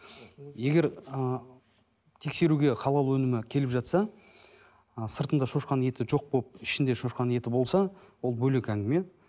егер ы тексеруге халал өнімі келіп жатса ы сыртында шошқаның еті жоқ болып ішінде шошқаның еті болса ол бөлек әңгіме